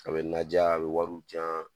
A bi naja a bi wariw di yan